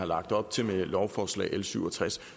lagt op til med lovforslag l syv og tres